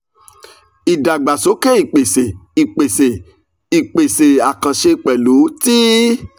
ìdàgbàsókè ìpèsè ìpèsè ìpèsè àkànṣe pẹ̀lú ti